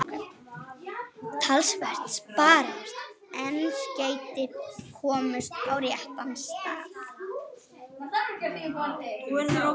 Gangi þér allt í haginn, Ívana.